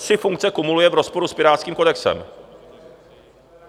Tři funkce kumuluje v rozporu s pirátským kodexem.